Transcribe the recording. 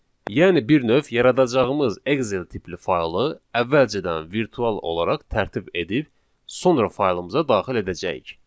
Yəni bir növ yaradacağımız Excel tipli faylı əvvəlcədən virtual olaraq tərtib edib, sonra faylımıza daxil edəcəyik.